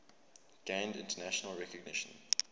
gained international recognition